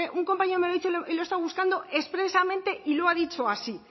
un compañero me ha dicho y lo he estado buscando expresamente y lo ha dicho así